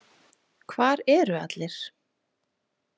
„Hvar eru allir?“